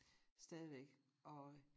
Stadigvæk og